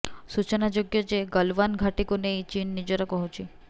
ସୂଚନାଯୋଗ୍ୟ ଯେ ଗଲଓ୍ୱାନ୍ ଘାଟିକୁ ନେଇ ଚୀନ୍ ନିଜର କହୁଛି